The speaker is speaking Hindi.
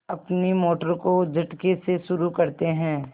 अपनी मोटर को झटके से शुरू करते हैं